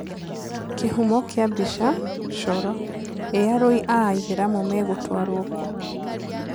Kĩhumo kĩa mbica: Coro: Ĩ arũi a ĩthĩramu megũtwarwo kũ?